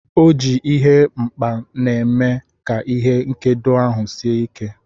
O ji ihe nkpa na-eme ka ihe nkedo ahụ sie ike.